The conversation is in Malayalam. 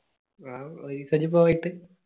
wow പോയിട്ട്